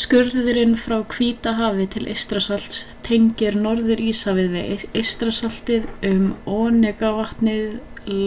skurðurinn frá hvíta hafi til eystrasalts tengir norður-íshafið við eystrasaltið um onegavatn